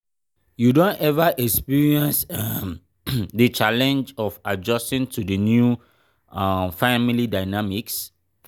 you don ever experience um di challenge um of adjusting to di new um family dynamics?